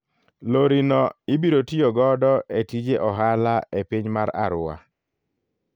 Lori no ibiro tiyo godo e tije ohala e piny mar Arua.